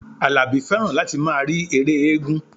Àlàbí fẹ́ràn láti máa rí ère éégún